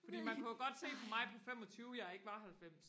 fordi man kunne jo godt se på mig på femogtyve jeg ikke var halvfems